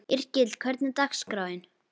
Yrkill, hvernig er dagskráin?